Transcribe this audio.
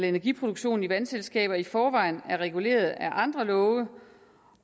energiproduktionen i vandselskaber i forvejen er reguleret af andre love